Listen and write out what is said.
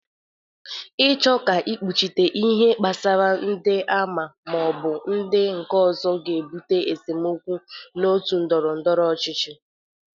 Ịchọ ka ekpuchite ihe kpasara ndị a ma ọ bụ ndị nke ọzọ ga-ebụte esemokwu na otu ndọrọndọrọ ọchịchị.